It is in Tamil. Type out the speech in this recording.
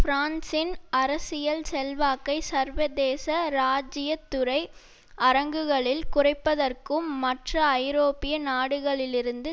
பிரான்சின் அரசியல் செல்வாக்கை சர்வதேச ராஜ்ஜியத்துறை அரங்குகளில் குறைப்பதற்கும் மற்ற ஐரோப்பிய நாடுகளிலிருந்து